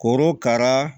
Korokara